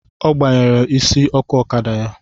Ọ gbanyere isi ọkụ ọkada ya